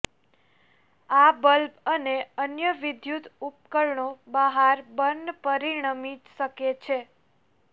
આ બલ્બ અને અન્ય વિદ્યુત ઉપકરણો બહાર બર્ન પરિણમી શકે છે